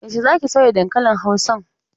Yaushe za ki soya dankalin Hausan?